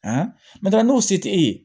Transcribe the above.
n'o tɛ n'o se t'e ye